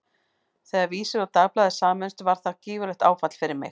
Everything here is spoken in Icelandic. Þegar Vísir og Dagblaðið sameinuðust var það gífurlegt áfall fyrir mig.